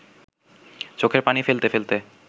চোখের পানি ফেলতে ফেলতে